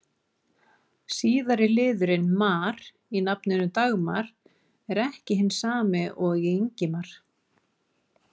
Síðari liðurinn-mar í nafninu Dagmar er ekki hinn sami og í Ingimar.